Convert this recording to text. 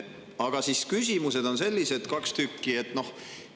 Aga mu küsimused on sellised, kaks tükki.